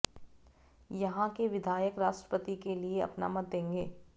यहां के विधायक राष्ट्रपति के लिए अपना मत देंगे